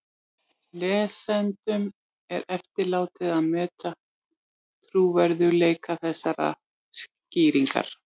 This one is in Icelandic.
Lesendum er eftirlátið að meta trúverðugleika þessarar skýringar.